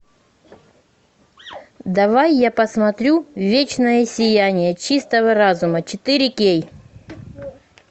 давай я посмотрю вечное сияние чистого разума четыре кей